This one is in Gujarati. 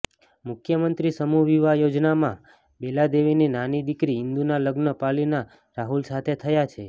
મુખ્યમંત્રી સમૂહ વિવાહ યોજનામાં બેલાદેવીની નાની દિકરી ઈન્દુના લગ્ન પાલીના રાહુલ સાથે થયા છે